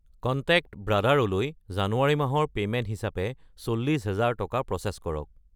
Contact ভাই লৈ জানুৱাৰী মাহৰ পে'মেণ্ট হিচাপে 40000 টকা প্ৰ'চেছ কৰক।